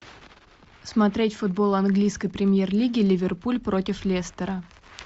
смотреть футбол английской премьер лиги ливерпуль против лестера